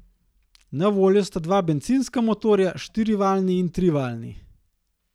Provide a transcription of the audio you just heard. Na voljo sta dva bencinska motorja, štirivaljni in trivaljni.